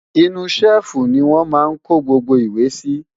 inú ṣẹ́ẹ̀fù ni wọ́n máa ń kó gbogbo ìwé sí